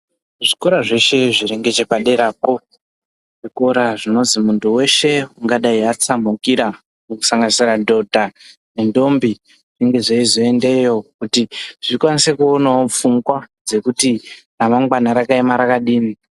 Zvikora zveshe zviringechepaderapo, zvikora zvinozwi muntu weshe ungadai atsamhukira kusanganisira madhodha nendombi zvinge zveizoendeyo kuti zvikwanise kuonawo pfungwa dzekuti ramangwana rakaema rakadini.